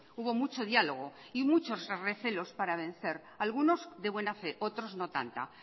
hubo mucho diálogo y muchos recelos para vencer algunos de buena fe otros no tanta